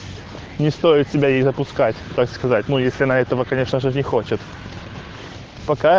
не стоит себя и запускать так сказать ну если на этого конечно же не хочет пока